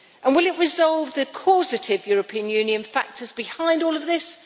And will it resolve the causative European Union factors behind all of this?